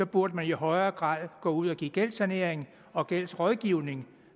burde man i højere grad gå ud og give gældssanering og gældsrådgivning